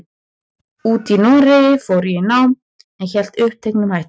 úti í Noregi fór ég í nám, en hélt uppteknum hætti.